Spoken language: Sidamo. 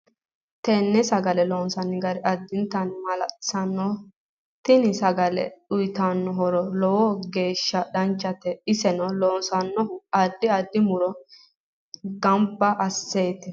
TEne sagal loonsooni gari addinta maalalsiisanno tini sagale uyiitannno horo lowo geesha danchate ise loonsoonihu addi addi muro ganba asineeti